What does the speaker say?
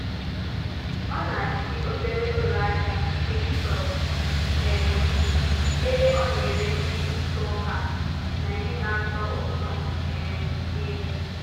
Ọ na-achị obere ụlọ ahịa TikTok um ebe ọ na-ere ihe ntụ ọka na ihe na-atọ ụtọ um nri.